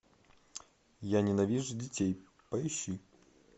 я ненавижу детей поищи